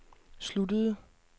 sluttede